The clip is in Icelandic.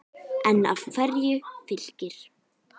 En af hverju Fylkir?